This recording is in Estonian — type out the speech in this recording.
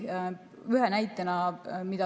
Toon ühe näite.